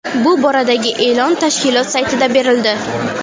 Bu boradagi e’lon tashkilot saytida berildi .